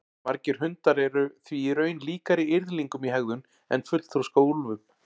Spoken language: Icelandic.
Margir hundar eru því í raun líkari yrðlingum í hegðun en fullþroska úlfum.